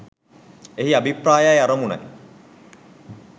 එහි අභිප්‍රායයි අරමුණයි.